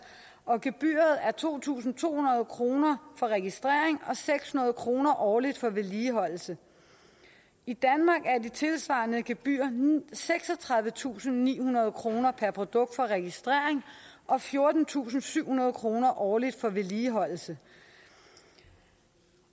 og gebyret er to tusind to hundrede kroner for registrering og seks hundrede kroner årligt for vedligeholdelse i danmark er de tilsvarende gebyrer seksogtredivetusinde og nihundrede kroner per produkt for registrering og fjortentusinde og syvhundrede kroner årligt for vedligeholdelse